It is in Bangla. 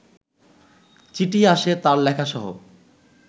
চিঠি আসে তাঁর লেখাসহ